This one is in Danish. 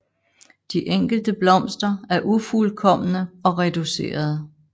De enkelte blomster er ufuldkomne og reducerede